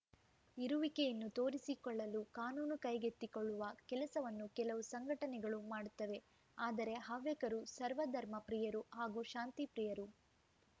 ಇರುವಿಕೆಯನ್ನು ತೋರಿಸಿಕೊಳ್ಳಲು ಕಾನೂನು ಕೈಗೆತ್ತಿಕೊಳ್ಳುವ ಕೆಲಸವನ್ನು ಕೆಲವು ಸಂಘಟನೆಗಳು ಮಾಡುತ್ತವೆ ಆದರೆ ಹವ್ಯಕರು ಸರ್ವಧರ್ಮ ಪ್ರಿಯರು ಹಾಗೂ ಶಾಂತಿಪ್ರಿಯರು